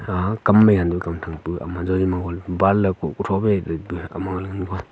aa kam mai yannu kam thang pu ama jori mohon ban ley kuh tho phai ma ley ngan--